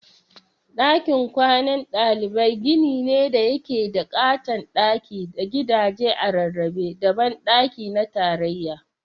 Dakin kwanan ɗalibai gini ne da yake da ƙaton daki da gadaje a rarrabe da banɗaki na tarayya.